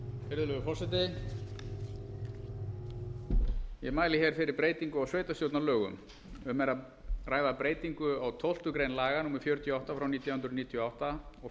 virðulegur forseti ég mæli fyrir breytingu á sveitarstjórnarlögum um er að ræða breytingu á tólftu grein laga númer fjörutíu og átta nítján hundruð níutíu og átta og